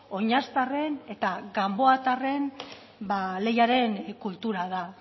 oinaztarren eta ganboatarren ba leiaren kultura da